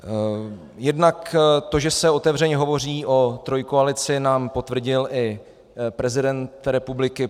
Jednak to, že se otevřeně hovoří o trojkoalici, nám potvrdil i prezident republiky.